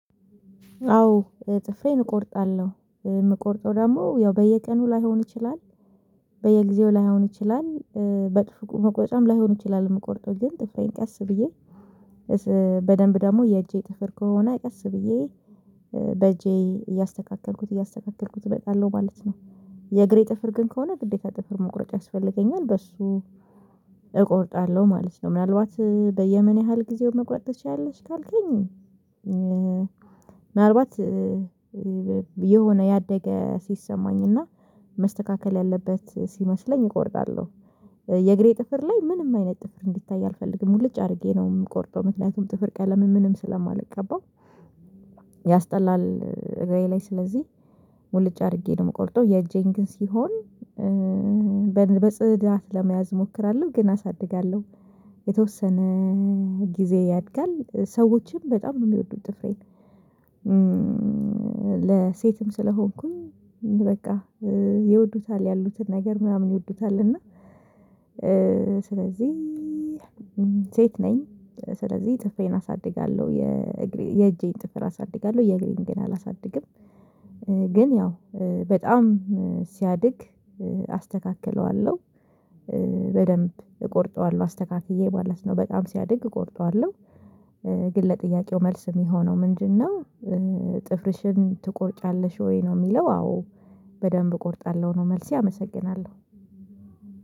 አዎ ጥፍሬን እቆርጣለሁ የምቆርጠው ደግሞ ያው በየቀኑ ላይሆን ይችላል በየጊዜው ላይሆን ይችላል በጥፍር መቁረጫ ላይሆን ይችላል የምቆርጠው ግን ጥፍሬን ቀስ ብዬ በደንብ ደግሞ የእጄ ጥፍር ከሆነ ቀስ ብዬ በእጄ እያስተካከልኩት እያስተካከልኩት እመጣለሁ ማለት ነው። የእግሬ ጥፍር ግን ከሆነ ግዴታ ጥፍር መቁረጥ ያስፈልገኛል በሱ እቆርጣለሁ ማለት ነው። ምናልባት በየምን ያህል ጊዜውን መቁረጥ ትችያለሽ ካልከኝ? ምናልባት የሆነ ያደገ ሲሰማኝና መስተካከል ያለበት ሲመስለኝ እቆርጣለሁ። የእግሬ ጥፍር ላይ ምንም አይነት ጥፍር እንዲታይ አልፈልግም ሙሉጭ አድርጌ ነው የምቆርጠው ምክንያቱም ጥፍር ቀለምን ምንም ስለማልቀባው። ያስጠላል እግረ ላይ ስለዚህ ሙልጭ አድርጌ ነው ምቆርጠው የእጄን ግን ሲሆን በጽዳት ለመያዝ እሞክራለሁ። ግን አሳድጋለሁ የተወሰነ ጊዜ ያድጋል ሰዎችም በጣም ነው የሚወዱት ጥፍሬን። ለሴትም ስለሆንኩኝ በቃ ይወዱታል ያሉትን ነገር ምናምን ይወዱታል እና ስለዚህ ሴት ነኝ ስለዚህ ጥፍሬን አሳድጋለሁ። የእግሬ የእጄን ጥፍር አሳድጋለሁ የእግሬን ግን አላሳድግም። ግን ያው በጣም ሲያድግ አስተካክለዋለሁ በደንብ እቆርጠዋለሁ አስተካክዬ ማለት ነው በጣም ሲያድግ እቆርጠዋለሁ። ግን ለጥያቄው መልስ የሚሆነው ምንድነው? ጥፍርሽን ትቆርጫለሽ ወይ ነው የሚለው? አዎ በደንብ እቆርጣለሁ ነው መልስ አመሰግናለሁ።